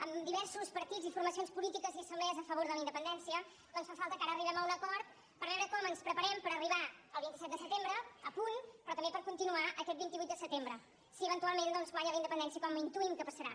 amb diversos partits i formacions polítiques i assemblees a favor de la independència doncs fa falta que ara arribem a un acord per veu·re com ens preparem per arribar al vint set de setembre a punt però també per continuar aquest vint vuit de setembre si eventual ment doncs guanya la independència com intuïm que passarà